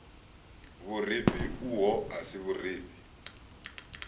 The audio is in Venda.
vhurifhi uho a si vhurifhi